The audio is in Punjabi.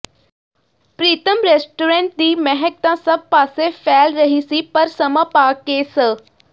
ਪ੍ਰੀਤਮ ਰੈਸਟੋਰੈਂਟ ਦੀ ਮਹਿਕ ਤਾਂ ਸਭ ਪਾਸੇ ਫੈਲ ਰਹੀ ਸੀ ਪਰ ਸਮਾਂ ਪਾ ਕੇ ਸ